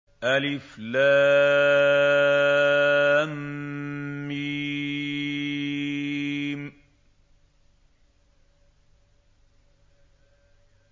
الم